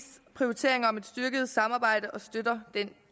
styrket samarbejde og støtter den